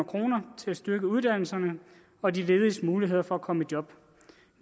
kroner til at styrke uddannelserne og de lediges muligheder for at komme i job